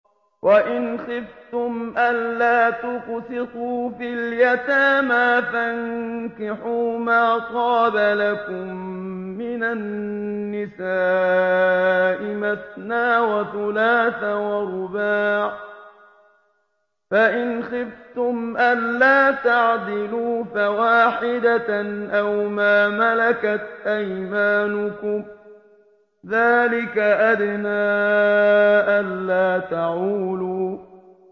وَإِنْ خِفْتُمْ أَلَّا تُقْسِطُوا فِي الْيَتَامَىٰ فَانكِحُوا مَا طَابَ لَكُم مِّنَ النِّسَاءِ مَثْنَىٰ وَثُلَاثَ وَرُبَاعَ ۖ فَإِنْ خِفْتُمْ أَلَّا تَعْدِلُوا فَوَاحِدَةً أَوْ مَا مَلَكَتْ أَيْمَانُكُمْ ۚ ذَٰلِكَ أَدْنَىٰ أَلَّا تَعُولُوا